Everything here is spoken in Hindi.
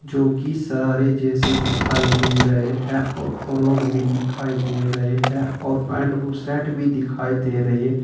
जो कि शरारे जैसे दिखाई दे रहे हैं और फ्रॉक भी दिखाई दे रहे हैं और पैंट और शर्ट भी दिखाई दे रही है।